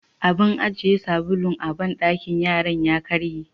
Abin ajiye sabulu a banɗakin yaran ya karye.